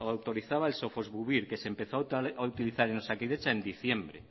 autorizaba sofosbuvir que se empezó a utilizar en osakidetza en diciembre